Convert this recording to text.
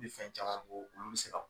I bɛ fɛn caman bɔ olu tɛ se ka